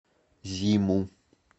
зиму